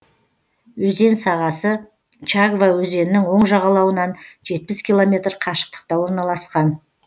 өзен сағасы чагва өзенінің оң жағалауынан жетпіс километр қашықтықта орналасқан